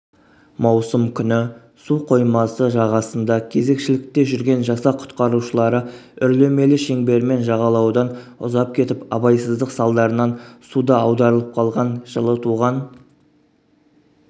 маусым күні су қоймасы жағасында кезекшілікте жүрген жасақ құтқарушылары үрлемелі шеңбермен жағалаудан ұзап кетіп абайсыздық салдарынан суда аударылып қалған жылы туған